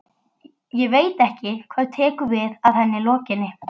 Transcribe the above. Ég veit ekki hvað tekur við að henni lokinni.